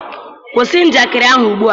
kwụsị njakịrị ahụ ugbua!